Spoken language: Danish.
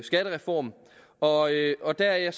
skattereform og og der er jeg